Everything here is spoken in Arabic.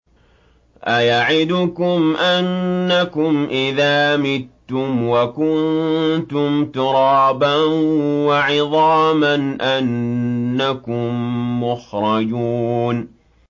أَيَعِدُكُمْ أَنَّكُمْ إِذَا مِتُّمْ وَكُنتُمْ تُرَابًا وَعِظَامًا أَنَّكُم مُّخْرَجُونَ